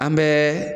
An bɛ